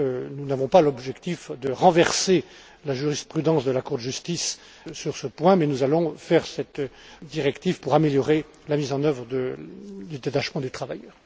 Nous n'avons pas l'objectif de renverser la jurisprudence de la Cour de justice sur ce point, mais nous allons faire cette directive pour améliorer la mise en œuvre des détachements de travailleurs.